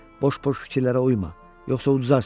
Boş-boş fikirlərə uyma, yoxsa uduzarsan.